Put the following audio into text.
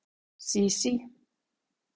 Sísí